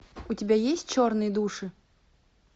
у тебя есть черные души